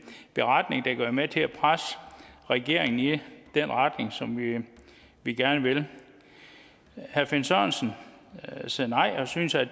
beretning der kan være med til at presse regeringen i den retning som vi gerne vil herre finn sørensen sagde nej og synes at